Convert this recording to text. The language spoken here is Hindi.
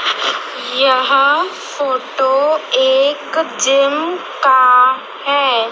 यह फोटो एक जिम का है।